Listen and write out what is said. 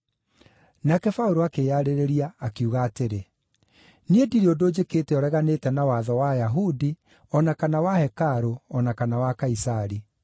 Nake Paũlũ akĩĩyarĩrĩria, akiuga atĩrĩ: “Niĩ ndirĩ ũndũ njĩkĩte ũreganĩte na watho wa Ayahudi, o na kana wa hekarũ o na kana wa Kaisari.”